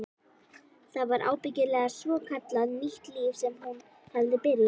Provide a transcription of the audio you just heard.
Það var ábyggilega svokallað nýtt líf sem hún hafði byrjað.